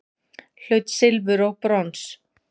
Hlaut silfur og brons